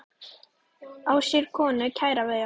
Á sér konu kæra ver.